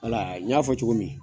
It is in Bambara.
Wal , n y'a fɔ cogo min